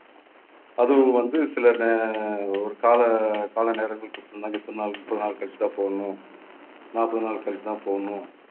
அதுவும் வந்து சில நே~ ஒரு கால கால நேரங்கள் கொடுத்திருந்தாங்க. இத்தனை நாள் முப்பது நாள் கழிச்சுதான் போடணும். நாற்பது நாள் கழிச்சுதான் போடணும்